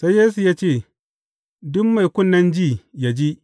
Sai Yesu ya ce, Duk mai kunnen ji, yă ji.